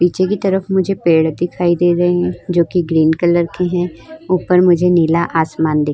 पीछे की तरफ मुझे पेड़ दिखाई दे रहे हैं जोकि ग्रीन कलर के हैं। ऊपर मुझे नीला आसमान दिखा --